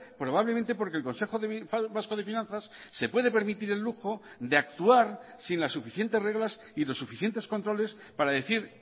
probablemente porque el consejo vasco de finanzas se puede permitir el lujo de actuar sin las suficientes reglas y los suficientes controles para decir